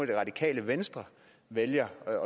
det radikale venstre vælger